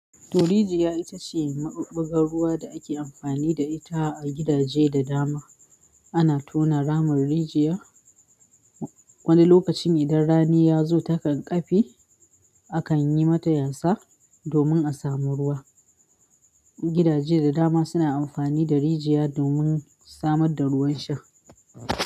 To rijiya itace mabubbugar ruwa da ake amfani da ita a gidaje da dama ana tona ramun rijiya wani lokacin idan rani ya zo takan ƙafe, akan yi mata yasa domin a samu ruwa. Gidaje da dama suna amfani da rijiya domin samar da ruwan sha.